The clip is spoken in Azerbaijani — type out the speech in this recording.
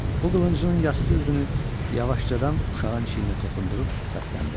O qılıncının yastı üzünü yavaşcadan uşağın çiyninə toxundurub səsləndi: